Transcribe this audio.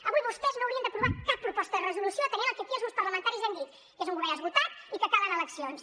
avui vostès no haurien d’aprovar cap proposta de resolució atenent el que aquí els grups parlamentaris hem dit que és un govern esgotat i que calen eleccions